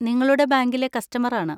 നിങ്ങളുടെ ബാങ്കിലെ കസ്റ്റമർ ആണ്.